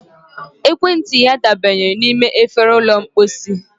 ekwentị ya dabanyere n'ime efere ụlọ mposi